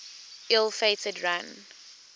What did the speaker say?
ill fated run